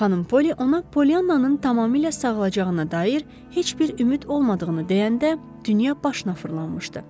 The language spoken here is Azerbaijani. Xanım Polli ona Pollyananın tamamilə sağalacağına dair heç bir ümid olmadığını deyəndə dünya başına fırlanmışdı.